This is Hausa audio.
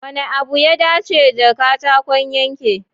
Wanne abu ya dace da katakon yanke?